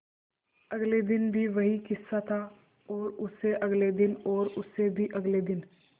अगले दिन भी वही किस्सा था और उससे अगले दिन और उससे भी अगले दिन